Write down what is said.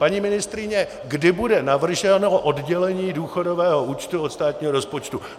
Paní ministryně, kdy bude navrženo oddělení důchodového účtu od státního rozpočtu?